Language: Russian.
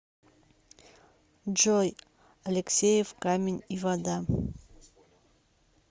джой алексеев камень и вода